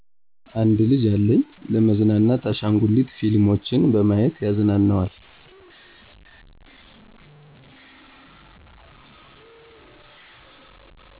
አንድ ልጂ አለኝ። ለመዝናናት አሻንጉሊት ፊልሞችን በማዬት ያዝናነዋል።